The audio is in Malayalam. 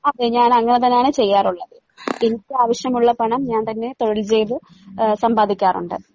അതെ ഞാനങ്ങനെതന്നാണ് ചെയ്യാറുള്ളത് എനിക്കാവശ്യമുള്ള പണം ഞാൻ തന്നെ തൊഴിൽ ചെയ്‌ത്‌ ആഹ് സമ്പാദിക്കാറുണ്ട്.